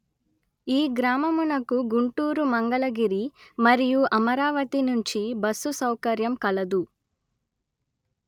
ఈ గ్రామమునకు గుంటూరు మంగళగిరి మరియు అమరావతి నుంచి బస్సు సౌకర్యం కలదు